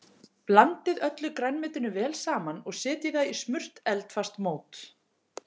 Blandið öllu grænmetinu vel saman og setjið það í smurt eldfast mót.